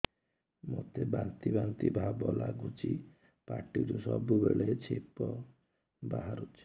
ମୋତେ ବାନ୍ତି ବାନ୍ତି ଭାବ ଲାଗୁଚି ପାଟିରୁ ସବୁ ବେଳେ ଛିପ ବାହାରୁଛି